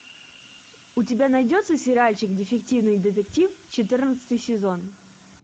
у тебя найдется сериальчик дефективный детектив четырнадцатый сезон